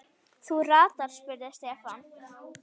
Þú ratar? spurði Stefán.